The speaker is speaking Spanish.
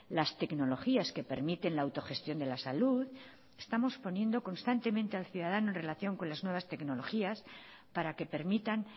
las tecnologías que permiten la autogestión de la salud estamos poniendo constantemente al ciudadano en relación con las nuevas tecnologías para que permitan